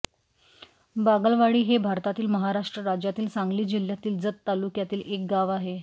बागलवाडी हे भारतातील महाराष्ट्र राज्यातील सांगली जिल्ह्यातील जत तालुक्यातील एक गाव आहे